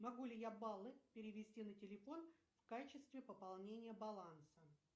могу ли я баллы перевести на телефон в качестве пополнения баланса